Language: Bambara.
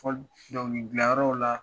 Fɔliw dɔnkili gilan yɔrɔw la